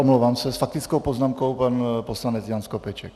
Omlouvám se, s faktickou poznámkou pan poslanec Jan Skopeček.